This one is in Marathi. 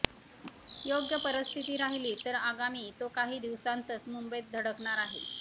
योग्य परिस्थिती राहिली तर आगामी तो काही दिवसांतच मुंबईत धडकणार आहे